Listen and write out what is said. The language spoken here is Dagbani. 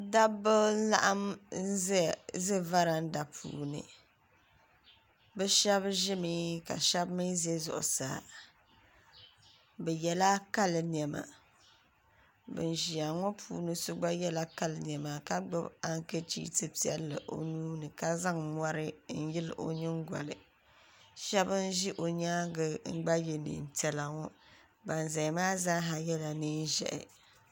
Dabi n laɣim n ʒɛ varanda puuni bɛ shɛb ʒimi ka shɛb mi zɛ zuɣusaa bɛ yɛla kali nema bin ʒia ŋɔ puuni yinɔ gna yɛla kali nema ka gbubi ankachiifu piɛla o nuuni ka zaŋ yɛri n yili ʒɛ gba n ʒɛ o nyaaŋa n gba ye neen piɛla ban ʒɛya maa zaa yɛla nee ʒɛhi